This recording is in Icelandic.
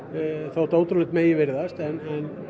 þótt ótrúlegt megi virðast en